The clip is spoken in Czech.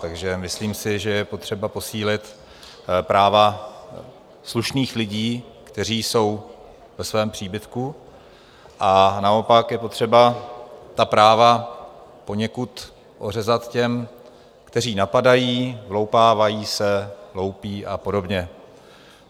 Takže myslím si, že je potřeba posílit práva slušných lidí, kteří jsou ve svém příbytku, a naopak je potřeba ta práva poněkud ořezat těm, kteří napadají, vloupávají se, loupí a podobně.